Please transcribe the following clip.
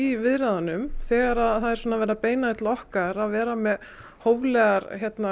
í viðræðunum þegar það er verið að beina því til okkar að vera með hóflegar